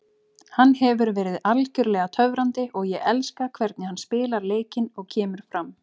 Hann hefur verið algjörlega töfrandi og ég elska hvernig hann spilar leikinn og kemur fram.